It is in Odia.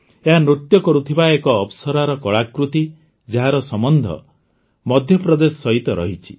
ଏହା ନୃତ୍ୟ କରୁଥିବା ଏକ ଅପ୍ସରାର କଳାକୃତି ଯାହାର ସମ୍ବନ୍ଧ ମଧ୍ୟପ୍ରଦେଶ ସହିତ ରହିଛି